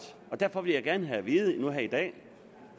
derfor vil jeg gerne have at vide nu i dag